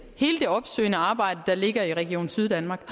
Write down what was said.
hele det opsøgende arbejde der ligger i region syddanmark